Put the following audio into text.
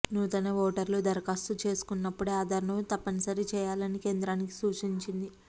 నూతన ఓటర్లు దరఖాస్తు చేసుకున్నప్పుడే ఆధార్ను తప్పనిసరి చేయాలని కేంద్రానికి సూచించింది